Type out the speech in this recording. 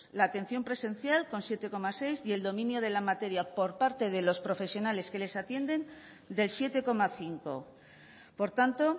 la atención presencial con siete coma seis y el dominio de la materia por parte de los profesionales que les atienden del siete coma cinco por tanto